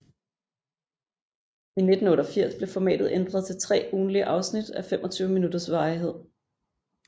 I 1988 blev formatet ændret til tre ugentlige afsnit af 25 minutters varighed